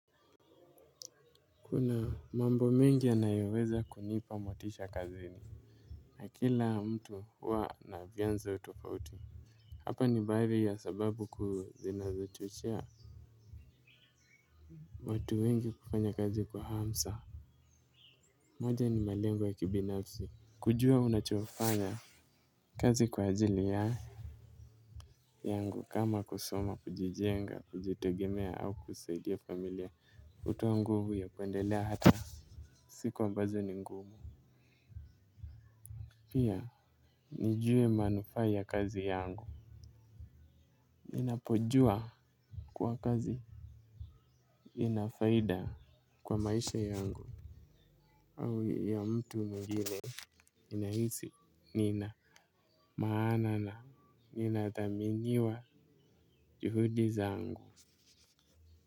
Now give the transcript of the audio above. Kuna mambo mengi yanayoweza kunipa motisha kazini. Na kila mtu huwa na vyanzo tofauti hapa ni baadhi ya sababu kuu zinazo chochea watu wengi kufanya kazi kwa hamsa. Moja ni malengo ya kibinafsi. Kujua unachofanya kazi kwa ajili ya yangu kama kusoma kujijenga kujitogemea au kusaidia familia kutoa nguvu ya kuendele hata siku ambazo ni ngumu, pia nijue manufaa ya kazi yangu. Ninapojua kwa kazi inafaida kwa maisha yangu au ya mtu mwigini. Ninahisi, Nina Maana na nina thaminyiwa juhudi zaangu.